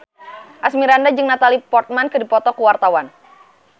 Asmirandah jeung Natalie Portman keur dipoto ku wartawan